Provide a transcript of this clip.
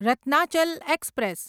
Ratnachal express